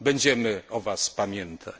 Będziemy o Was pamiętać.